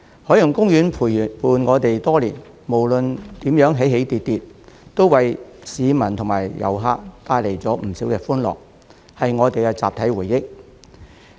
海洋公園陪伴我們多年，無論如何起起跌跌，都為市民及遊客帶來不少歡樂，是我們的集體回憶。